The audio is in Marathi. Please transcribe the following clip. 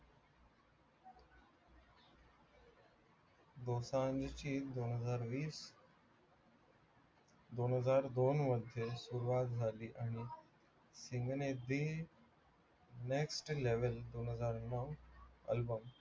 दोसांजची दोनहजार वीस दोनहजार दोन मध्ये सुरवात झाली आणि next level दोनहजार नऊ album